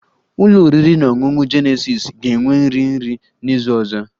Ụlọ oriri na ọṅụṅụ Jenesis ga-enwe nri nri n'izu ọzọ